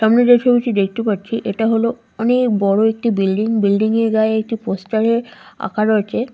সামনে যে ছবিটি দেখতে পাচ্ছি এটা হল অনেক বড় একটি বিল্ডিং বিল্ডিং এর গায়ে একটি পোস্টারে আঁকা রয়েছে।